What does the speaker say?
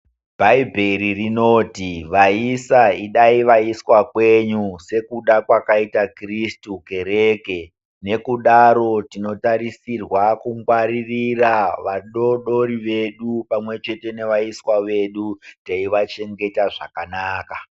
Bhaibheri rinoti vaisa idai vaiswa kwenyu sekuda kwakaita kirisitu kereke nekudaro tinotarisirwa kungwaririra vadodori vedu pamwe chete nevaiswa vedu teivachengeta zvakanaka.